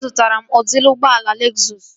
Azụtara m udịri ụgbọala Lezụs